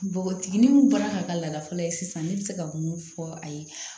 Npogotiginin min bɔra ka ka laada fɔlɔ ye sisan ne bɛ se ka mun fɔ a ye